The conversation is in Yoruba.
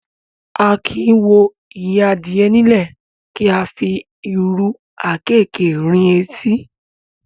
A kì í wo ìyẹ́ adìyẹ nílẹ̀, kí a wá fi ìrù àkéékèé rin etí.